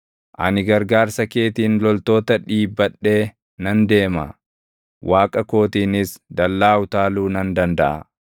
Ani gargaarsa keetiin loltoota dhiibbadhee nan deema; Waaqa kootiinis dallaa utaaluu nan dandaʼa.